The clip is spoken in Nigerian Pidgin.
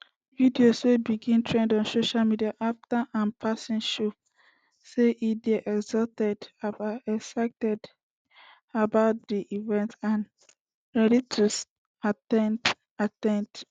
videos wey begin trend on social media afta im passing show say e dey excited about di event and ready to at ten d at ten d